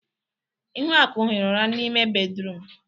Ihuaku hiri ụra n'ime bédrụum.